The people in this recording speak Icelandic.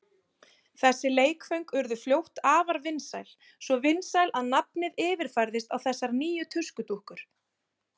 Þessi leikföng urðu fljótt afar vinsæl, svo vinsæl að nafnið yfirfærðist á þessar nýju tuskudúkkur.